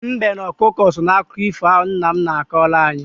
Mbe na ọkụkọ so n'akụkọ ifo ahụ nna m na-akọrọ anyị.